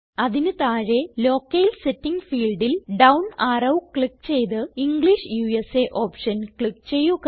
അതിന് താഴെ locale setting ഫീൽഡിൽ ഡൌൺ അറോ ക്ലിക്ക് ചെയ്ത് ഇംഗ്ലിഷ് ഉസ ഓപ്ഷൻ ക്ലിക്ക് ചെയ്യുക